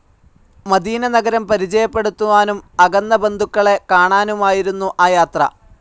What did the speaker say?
Medina നഗരം പരിചയപ്പെടുത്തുവാനും അകന്ന ബന്ധുക്കളെ കാണാനുമായിരുന്നു ആ യാത്ര.